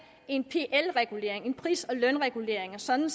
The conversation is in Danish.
en pl regulering en pris og lønregulering sådan